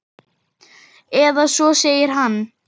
Eða svo segir hann.